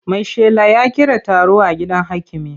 Maishela ya kira taro a gidan hakimi.